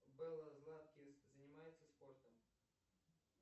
белла златкис занимается спортом